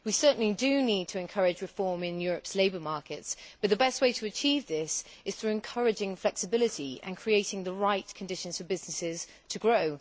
We need to encourage reform in Europe's labour markets, but the best way to achieve this is through encouraging flexibility and creating the right conditions for businesses to grow.